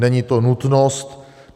Není to nutnost.